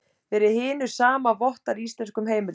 Fyrir hinu sama vottar í íslenskum heimildum.